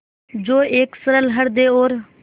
जो एक सरल हृदय और